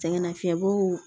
Sɛgɛnnafiɲɛbɔw